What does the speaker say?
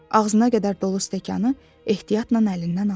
Ağzına qədər dolu stəkanı ehtiyatla əlindən aldı.